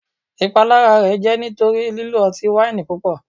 Ipalara rẹ jẹ nitori lilo ọti-waini pupọ